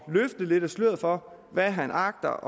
løfte lidt af sløret for hvad han agter